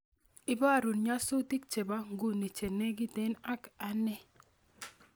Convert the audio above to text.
Ibarun nyasutik chebo nguni chenegiten ak ane